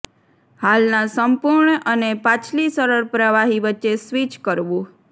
હાલના સંપૂર્ણ અને પાછલી સરળ પ્રવાહી વચ્ચે સ્વિચ કરવું